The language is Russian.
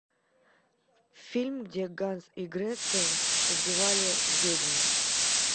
фильм где ганс и гретта убивали ведьм